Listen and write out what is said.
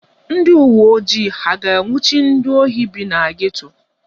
Ndị uwe ojii ha a ga-anwụchi ndị ohi bi na geto?